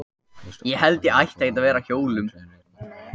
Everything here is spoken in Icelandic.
Fyrstu borgirnar eru þó allmiklu eldri en ritmál.